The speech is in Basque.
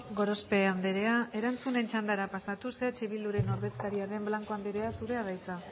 gorospe andrea erantzunen txandara pasatuz eh bilduren ordezkaria den blanco andrea zurea da hitza